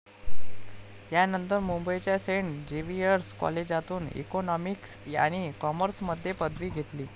यानंतर मुंबईच्या Saint Xavier's कॉलेजातून इकॉनॉमिक्स आणि कॉमर्समध्ये पदवी घेतली.